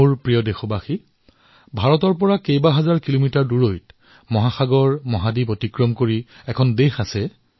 মোৰ মৰমৰ দেশবাসীসকল ভাৰতৰ পৰা সহস্ৰ কিলোমিটাৰ দূৰৈত বহু মহাসাগৰ মহাদ্বীপৰ সিপাৰে এখন দেশ আছে